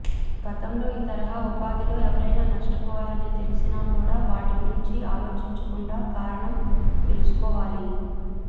గతంలో ఈ తరహా ఉపాధిలో ఎవరైనా నష్టపోయారని తెలిసినా కూడా వాటి గురించి ఆలోచించకుండా కారణం తెలుసుకోవాలి